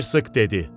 Hersoq dedi.